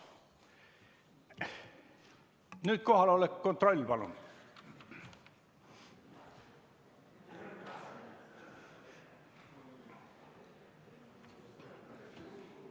Nüüd kohaloleku kontroll, palun!